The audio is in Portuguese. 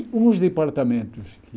Uns departamentos que...